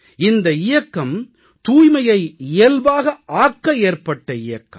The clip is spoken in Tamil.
இந்த இயக்கம் தூய்மையை இயல்பாக ஆக்க ஏற்பட்ட இயக்கம்